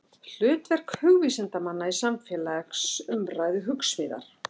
Hlutverk hugvísindamanna í samfélagsumræðu, Hugsmíðar.